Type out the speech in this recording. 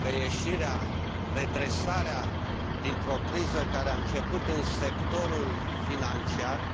anume că ieșirea, redresarea dintr o criză care a început în sectorul financiar este mult mai dificilă și mult mai lungă